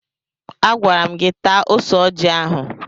Agwara m gị taa ose ọjị ahụ!